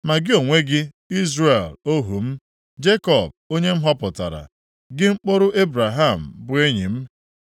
“Ma gị onwe gị, Izrel, ohu m, Jekọb, onye m họpụtara, gị mkpụrụ Ebraham, bụ enyi m.